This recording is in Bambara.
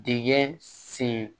Dingɛ sen